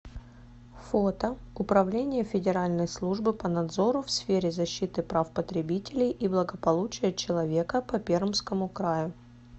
фото управление федеральной службы по надзору в сфере защиты прав потребителей и благополучия человека по пермскому краю